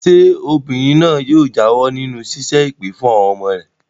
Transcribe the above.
Ṣé obìnrin náà yóò jáwọ́ nínú ṣíṣẹ́ èpè fún àwọn ọmọ rẹ̀?